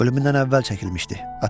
Ölümündən əvvəl çəkilmişdi.